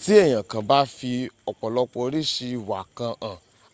ti eyan kan ba fi opolopo orisi iwa kan han